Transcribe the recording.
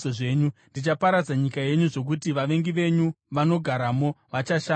Ndichaparadza nyika yenyu, zvokuti vavengi venyu vanogaramo vachashamiswa.